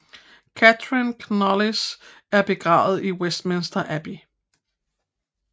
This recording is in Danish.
Katherine Knollys er begravet i Westminster Abbey